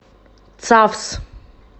цавс